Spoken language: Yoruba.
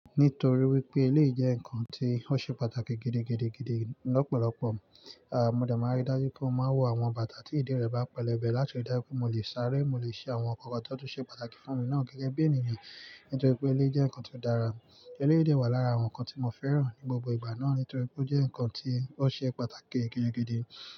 Nítorí wípé eléyìí jẹ́ ǹnkan tí ó ṣe pàtàkì gidigidi gidi lọ́pọ̀lọ́pọ̀. Mo dẹ̀ máa ń rí dájú pé mo máa ń wọ àwọn bàtà tí ìdí rẹ̀ bá pẹlẹbẹ láti rí dájú pé mo lè sáré, mo lè ṣe àwọn ǹnkan kan tó ṣe pàtàkì fún mi náà gẹ́gẹ́ bí ènìyàn. Nítorí pé eléyìí jẹ́ ǹnkan tó dára. Eléyìí dẹ̀ ìwà lára àwọn ǹnkan tí mo fẹ́ràn ní gbogbo ìgbà náà nítorí pé ó jẹ́ ǹnkan tí ó ṣe pàtàkì gidigidi.